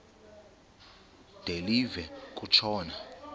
de live kutshona